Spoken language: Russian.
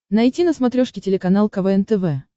найти на смотрешке телеканал квн тв